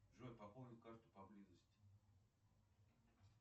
джой пополнить карту по близости